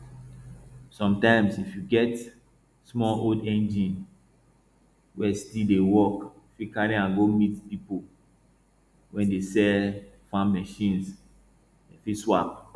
sometimes if you get small old engine wey still dey work fit carry am go meet people wey dey sell farm machines dem fit swap